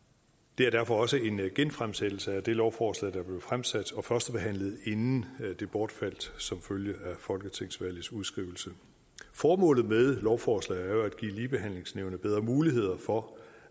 det er derfor også en genfremsættelse af det lovforslag der blev fremsat og førstebehandlet inden det bortfaldt som følge af folketingsvalgets udskrivelse formålet med lovforslaget er jo at give ligebehandlingsnævnet bedre muligheder for